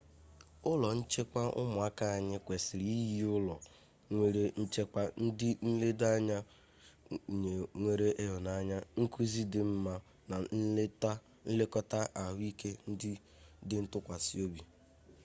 ụlọ nchekwa ụmụaka anyị kwesịrị inye ụlọ nwere nchekwa ndị nledo anya nwere ịhụnanya nkụzi akwụkwọ dị mma na nlekọta ahụike dị ntụkwasịobi